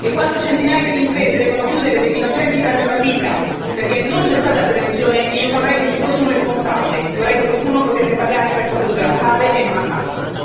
quando centinaia di imprese devono chiudere, quando degli innocenti perdono la vita perché non c'è stata prevenzione, io vorrei che ci fosse un responsabile, vorrei che qualcuno potesse pagare per ciò che doveva fare e non ha fatto.